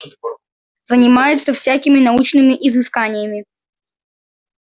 занимается всякими научными изысканиями